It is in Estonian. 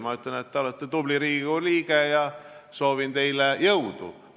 Ma ütlen, et te olete tubli Riigikogu liige ja soovin teile jõudu!